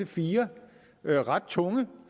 fire ret tunge